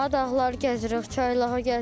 Dağlar gəzirik, çaylağa gəzirik.